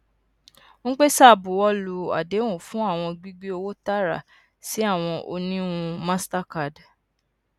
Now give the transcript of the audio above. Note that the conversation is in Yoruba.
mpesa buwọlu adehun fun awọn gbigbe owo taara si awọn oniwun mastercard